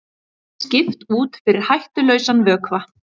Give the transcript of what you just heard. Skipt út fyrir hættulausan vökva